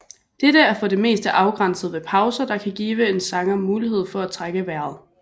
Denne er for det meste afgrænset ved pauser der kan give en sanger mulighed for at trække vejret